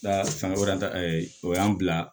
Da fanga wɛrɛ o y'an bila